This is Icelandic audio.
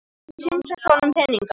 Ég get símsent honum peninga.